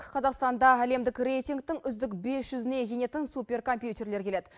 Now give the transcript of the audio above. қазақстанда әлемдік рейтингтің үздік бес жүзіне енетін суперкомпьютерлер келеді